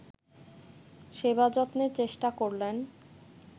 সেবাযত্নের চেষ্টা করলেন